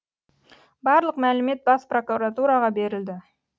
барлық мәлімет бас прокуратураға берілді